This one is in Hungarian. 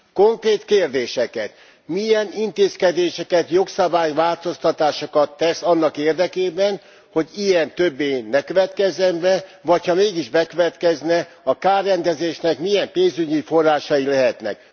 Konkrét kérdéseket milyen intézkedéseket, jogszabály változtatásokat tesz annak érdekében, hogy ilyen többé ne következzen be, vagy ha mégis bekövetkezne, a kárrendezésnek milyen pénzügyi forrásai lehetnek.